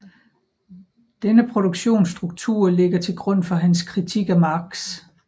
Denne produktionsstruktur ligger til grund for hans kritik af Marx